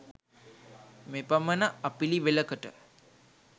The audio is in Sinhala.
මෙපමණ අපිළිවෙළකට